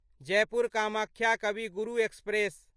Jaipur Kamakhya Kavi Guru express